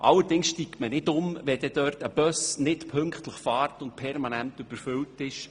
Allerdings steigt man nicht um, wenn ein Bus dort nicht pünktlich fährt und permanent überfüllt ist.